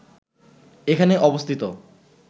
এখানে অবস্থিত